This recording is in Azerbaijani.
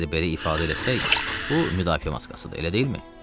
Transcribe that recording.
Əgər belə ifadə eləsək, bu müdafiə maskasıdır, elə deyilmi?